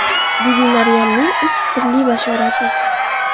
Bibi Maryamning uch sirli bashorati.